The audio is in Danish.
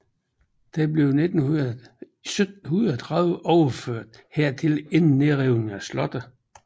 Den blev i 1730 overført hertil inden nedrivningen af slottet